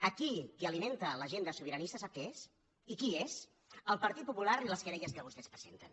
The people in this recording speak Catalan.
aquí qui alimenta l’agenda sobiranista sap què és i qui és el partit popular i les querelles que vostès presenten